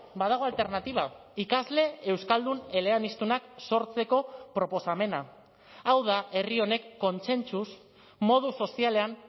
badago alternatiba ikasle euskaldun eleaniztunak sortzeko proposamena hau da herri honek kontsentsuz modu sozialean